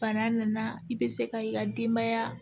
Bana nana i bɛ se ka i ka denbaya